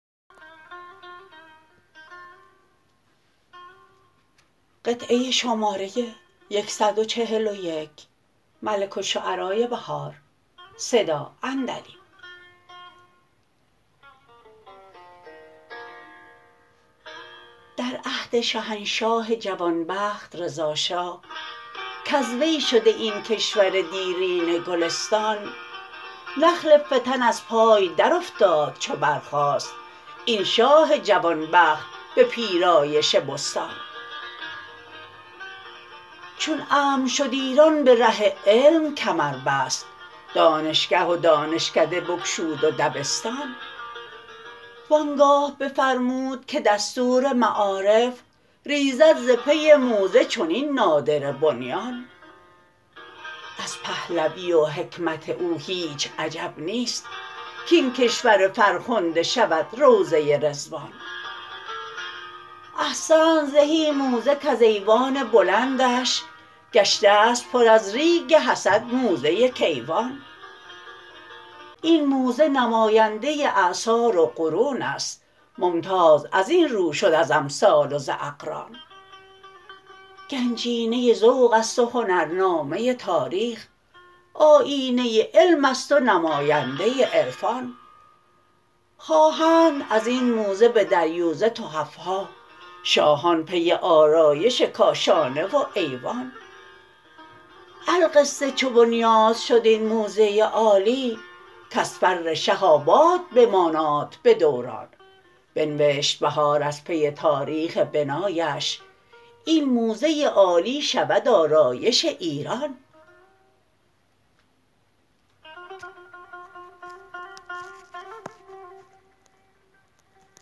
در عهد شهنشاه جوانبخت رضا شاه کاز وی شده این کشور دیرینه گلستان نخل فتن از پای درافتاد چو برخاست این شاه جوانبخت به پیرایش بستان چون امن شد ایران به ره علم کمر بست دانشگه و دانشکده بگشود و دبستان وانگاه بفرمود که دستور معارف ریزد ز پی موزه چنین نادره بنیان از پهلوی و حکمت او هیچ عجب نیست کین کشور فرخنده شود روضه رضوان احسنت زهی موزه کز ایوان بلندش گشتست پر از ریگ حسد موزه کیوان این موزه نماینده اعصار و قرونست ممتاز از این رو شد از امثال و ز اقران گنجینه ذوق است و هنرنامه تاریخ آیینه علمست و نماینده عرفان خواهند ازین موزه به دریوزه تحف ها شاهان پی آرایش کاشانه و ایوان القصه چو بنیاد شد این موزه عالی کاز فر شه آباد بماناد به دوران بنوشت بهار از پی تاریخ بنایش این موزه عالی شود آرایش ایران